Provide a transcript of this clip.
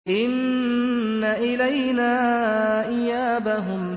إِنَّ إِلَيْنَا إِيَابَهُمْ